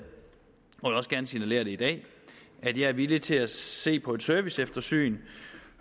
og vil også gerne signalere i dag at jeg er villig til at se på et serviceeftersyn